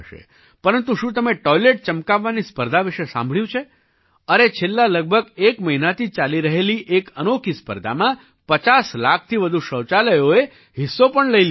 પરંતુ શું તમે ટૉઇલેટ ચમકાવવાની સ્પર્ધા વિશે સાંભળ્યું છે અરે છેલ્લા લગભગ એક મહિનાથી ચાલી રહેલી એક અનોખી સ્પર્ધામાં 50 લાખથી વધુ શૌચાલયોએ હિસ્સો લઈ પણ લીધો છે